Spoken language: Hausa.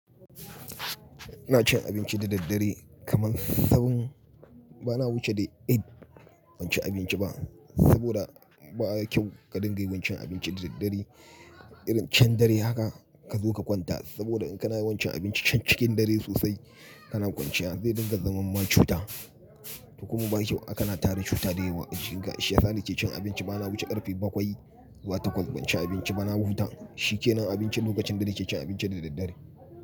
Ina cin abinci da daddare kamar seven. Bana wuce dai eight bancin abinci ba saboda ba kyau ka dinga yawan cin abinci da daddare. Irin can dare haka ka zo ka kwanta saboda in kana yawan cin abinci can cikin dare sosai kana kwanciya zai dinga zaman ma cuta. Kuma ba kyau a kana tara cuta da yawa. Shiga shi yasa nake cin abinci bana wuce karfe bakwai zuwa takwas banci abinci ba na huta. Shi kenan abinci lokacin da nake cin abinci da daddare.